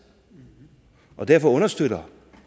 og derfor understøtter